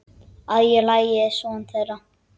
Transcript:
Að ég leiði son þeirra.